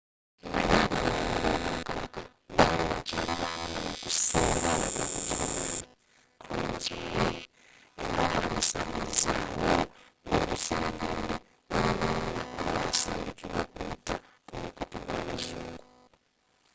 naye abalwanyi b'obwakabaka baali bakyali bamanyi okusinga aba bugirimaani kriegsmarine” era bandisanyizawo buli luseregende olulumba olwasindikibwa okuyita ku mukutu gwa bazungu